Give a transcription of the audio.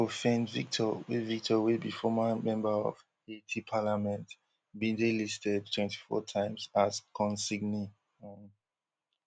prophane victor wey victor wey be former member of haiti parliament bin dey listed twenty-four times as consignee um